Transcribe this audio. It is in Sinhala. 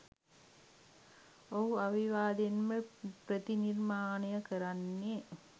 ඔහු අවිවාදයෙන්ම ප්‍රතිනිර්මාණය කරන්නේ